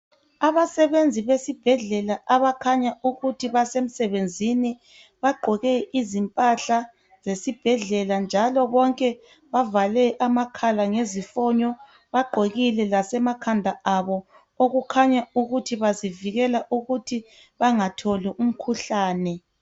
Abasebenzi besebhedlela abakhanya ukuthi basesemsebenzini baqoke izimphahla zesibhedlela njalo bonke bavale amakhala ngezifonyo, baqokile lasemakhanda abo okukhaya ukuthi bazivikela ukuthi bangatholi umkhuhlane.